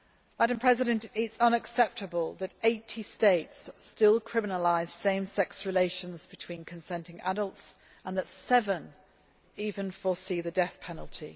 It is unacceptable that 80 states still criminalise same sex relations between consenting adults, and that seven even foresee the death penalty.